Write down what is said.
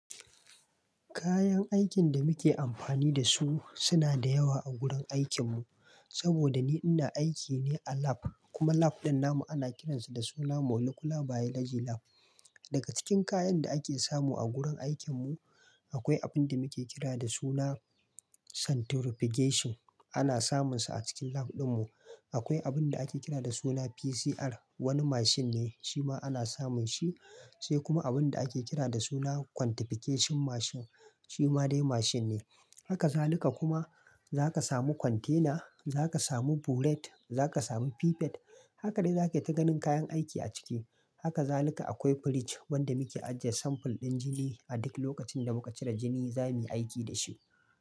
Kayan aikin da muke amfani da su suna da yawa a gurin aikinmu. Saboda ni ina aiki ne a lab kuma lab ɗin namu ana kiransa da suna Molecular Biology Lab. Daga cikin kayan da ake samu a gurin aikin mu akwai abin da muke kira da suna Centrifugation, ana samunsa a cikin lab ɗin mu. Akwai abin da ake kira da suna PCR, wani mashin ne shima ana samun shi, sai kuma abin da ake kira da suna Quantification mashin shima dai mashin ne. Haka zaluka kuma za ka samu Container, za ka samu Burette, za ka samu Pipette. Haka dai za ka yi ta ganin kayan aiki a ciki. Haka zaluka akwai fridge wanda muke ajjiye sample ɗin jini. A duk lokacin da muka cire jini za muyi aiki da shi.